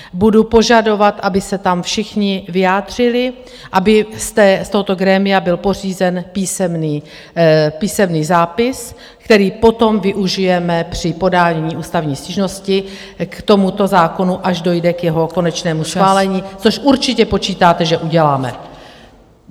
Budu požadovat, aby se tam všichni vyjádřili, aby z tohoto grémia byl pořízen písemný zápis, který potom využijeme při podání ústavní stížnosti k tomuto zákonu, až dojde k jeho konečnému schválení, což určitě počítáte, že uděláme.